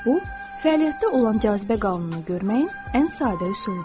Bu fəaliyyətdə olan cazibə qanununu görməyin ən sadə üsuludur.